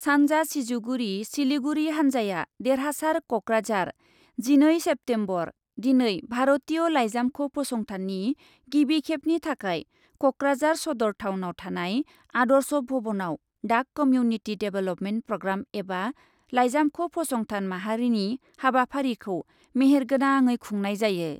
सानजा सिजुगुरि, सिलिगुरि हानजाया देरहासार कक्राझार , जिनै सेप्तेम्बर, दिनै भारतीय लाइजामख' फसंथाननि गिबि खेबनि थाखाय कक्राझार सदर टाउनआव थानाय आदर्श भवनआव डाक कमिउनिटि डेभेल्पमेन्ट प्राग्राम एबा लाइजामख' फसंथान माहारिनि हाबाफारिखौ मेहेर गोनाङै खुंनाय जायो ।